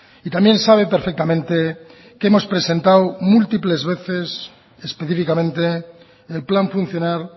y también sabe perfectamente que hemos presentado múltiples veces específicamente el plan funcional